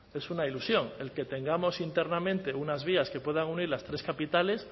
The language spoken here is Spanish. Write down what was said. es una ilusión el que tengamos internamente unas vías que puedan unir las tres capitales